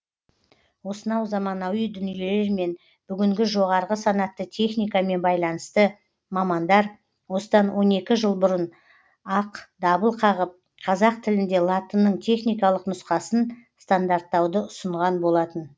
осынау заманауи дүниелермен бүгінгі жоғарғы санатты техникамен байланысты мамандар осыдан он екі жыл бұрын ақ дабыл қағып қазақ тілінде латынның техникалық нұсқасын стандарттауды ұсынған болатын